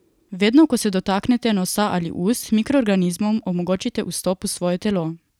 Vedno, ko se dotaknete nosa ali ust, mikroorganizmom omogočite vstop v svoje telo.